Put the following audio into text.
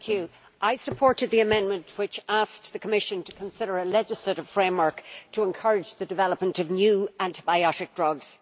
Madam President, I supported the amendment which asked the Commission to consider a legislative framework to encourage the development of new antibiotic drugs.